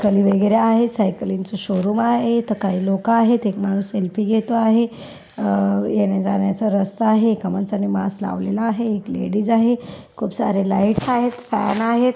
खाली वगैरे आहे. सायकलचे शोरूम आहे इथ काही लोक आहेत एक माणूस सेल्फी घेतो आहे. अ येण्याजाण्याचा रस्ता आहे एका माणसांनी मास्क लावलेला आहे. एक लेडीज आहे. खूप सारे लाइट्स आहेत. फैन आहेत.